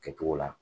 Kɛcogo la